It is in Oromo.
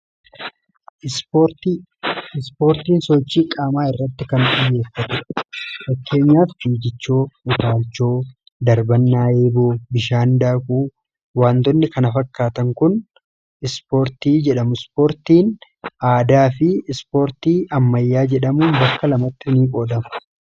ispoortiin sochii qaamaa irratti kan xiyyeeffate fakkeenyaaf figichoo, utaalchoo, darbannaa eeboo, bishaan daakuu waantonni kana fakkaatan kun ispoortii jedhamu. Ispoortiin aadaa fi ispoortii ammayyaa jedhamuun bakka lamatti qoodama.